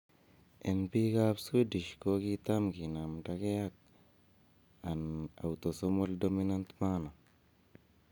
En pik ap swedish ko kitam kinamdege ag an autosomal dominant manner.